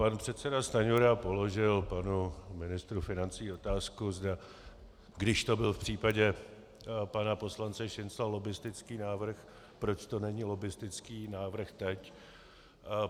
Pane předseda Stanjura položil panu ministru financí otázku, když to byl v případě pana poslance Šincla lobbistický návrh, proč to není lobbistický návrh teď.